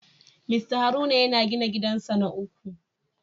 Mr Haruna yana gina gidansa na uku